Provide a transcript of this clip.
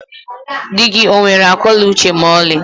Dị gị onwere akọ na uche ma ọlị?